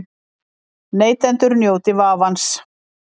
Neytendur njóti vafans